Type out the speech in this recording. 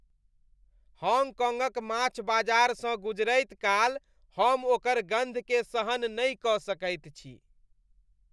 हॉन्गकॉन्गक माछ बाजारसँ गुजरैत काल हम ओकर गन्धकेँ सहन नहि कऽ सकैत छी।